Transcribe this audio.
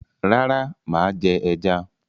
Rárá, mà á jẹ ẹja.